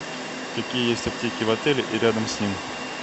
какие есть аптеки в отеле и рядом с ним